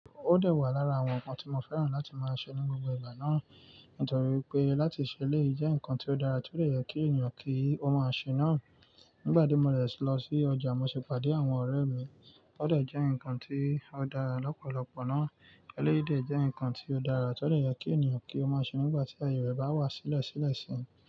Ó dẹ̀ wà lára àwọn ǹkan tí mo fẹ́ràn láti máa ṣe ní gbogbo ìgbà náà, nítorí pé láti ṣe eléyii jẹ́ nǹkan tí ó dára tó dẹ̀ yẹ kí ènìyàn kí ó máa ṣe náà. Nígbà tí mo dẹ̀ lọ sí ọjà, mo sì pàdé àwọn ọ̀rẹ́ mi. Ó dẹ̀ jẹ́ ǹkan tí ó dára lọ́pọ̀lọpọ̀ náà. Eléyìí dẹ̀ jẹ́ ǹkan tí ó dára tó dẹ̀ yẹ kí ènìyàn kí ó máa ṣe nígbà tí aye rẹ̀ bá wà sílẹ̀ sílẹ̀ sí i.